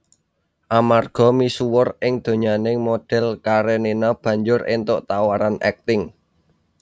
Amarga misuwur ing donyaning modhèl Karenina banjur éntuk tawaran akting